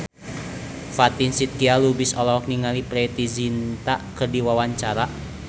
Fatin Shidqia Lubis olohok ningali Preity Zinta keur diwawancara